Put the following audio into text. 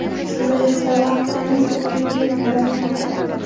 Aslida esa vaqt emas, umrimiz o‘tib bormoqda.